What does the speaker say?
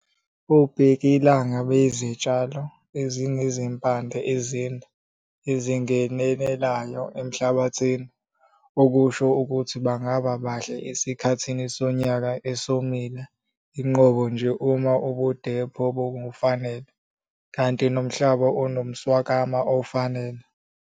Obhekilanga bayizitshalo ezinezimpande ezinde, ezingenelelayo emhlabathini. Okusho ukuthi bangaba bahle esikhathini sonyaka esomile inqobo nje uma ubudepho bungobufanele.kanti nomhlaba unomswakama ofanele.